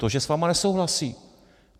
To, že s vámi nesouhlasí.